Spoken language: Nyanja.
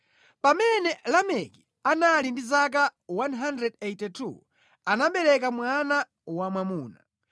Pamene Lameki anali ndi zaka 182, anabereka mwana wamwamuna.